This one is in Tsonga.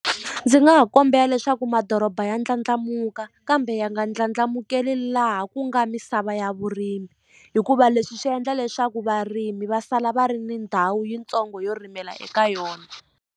Ndzi nga ha kombela leswaku madoroba ya ndlandlamuka kambe ya nga ndlandlamukeli laha ku nga misava ya vurimi hikuva leswi swi endla leswaku varimi va sala va ri ni ndhawu yitsongo yo rimela eka yona.